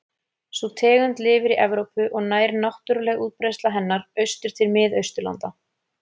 Sú tegund lifir í Evrópu og nær náttúruleg útbreiðsla hennar austur til Mið-Austurlanda.